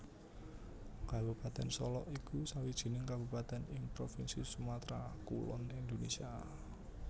Kabupatèn Solok iku sawijining kabupatèn ing provinsi Sumatra Kulon Indonésia